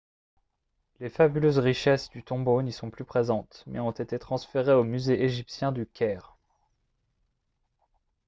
les fabuleuses richesses du tombeau n'y sont plus présentes mais ont été transférées au musée égyptien du caire